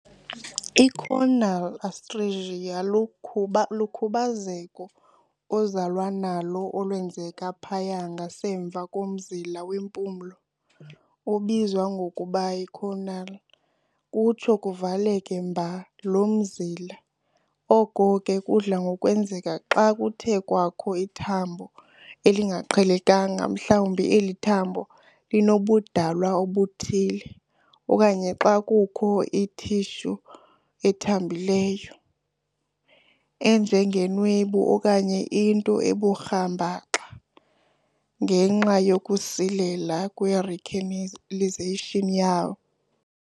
I-Choanal atresia lukhuba lukhubazeko ozalwa nalo olwenzeka phaya ngasemva komzila wempumlo, obizwa ngokuba yi-choana, kutsho kuvaleke mba lo mzila, oko ke kudla ngokwenzeka xa kuthe kwakho ithambo elingaqhelekanga mhlawubi eli thambo linobudalwa obuthile, okanye xa kuye kwakho i-tissue ethambileyo enjengenwebu okanye into ebukhumbarha ngenxa yokusilela kwe-recanalization yawo.